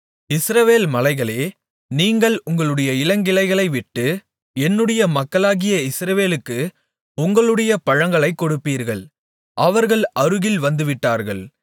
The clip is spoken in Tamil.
இஸ்ரவேல் மலைகளே நீங்கள் உங்களுடைய இளங்கிளைகளைவிட்டு என்னுடைய மக்களாகிய இஸ்ரவேலுக்கு உங்களுடைய பழங்களைக் கொடுப்பீர்கள் அவர்கள் அருகில் வந்துவிட்டார்கள்